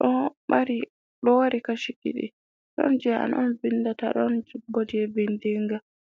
Ɗo mari Kashi ɗiɗi. Ɗon jei an on vindata, ɗon bo jei vindinga.